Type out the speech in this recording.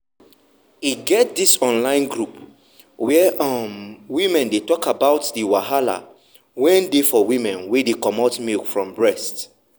e get this online group whereum women dey talk about the wahala wen dey for women wen dey comot milk from breast.